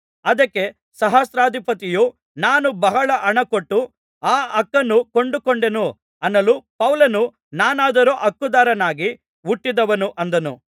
ಅದಕ್ಕೆ ಸಹಸ್ರಾಧಿಪತಿಯು ನಾನು ಬಹಳ ಹಣಕೊಟ್ಟು ಆ ಹಕ್ಕನ್ನು ಕೊಂಡುಕೊಂಡೆನು ಅನ್ನಲು ಪೌಲನು ನಾನಾದರೋ ಹಕ್ಕುದಾರನಾಗಿ ಹುಟ್ಟಿದವನು ಅಂದನು